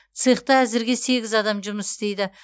цехта әзірге сегіз адам жұмыс істейді